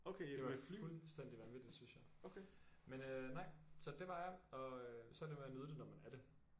Det var fuldstændig vanvittigt synes jeg. Men øh nej så det var jeg og øh så er det med at nyde det når man er det